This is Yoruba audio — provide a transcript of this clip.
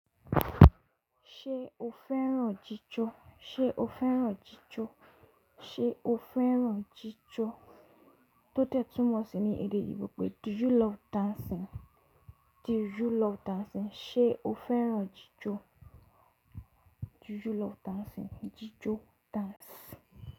Ṣé o fẹ́ràn jíjó? Ṣé o fẹ́ràn jíjó? Ṣé o fẹ́ràn jíjó? Tó tẹ̀ túmọ̀ sí ní èdè oyinbo pé “Do you love dancing?” Do you love dancing? Ṣé o fẹ́ràn jíjó? Do you love dancing? Jíjó—dance.